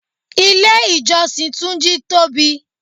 Ilé ìjọsìn túnjí tóbi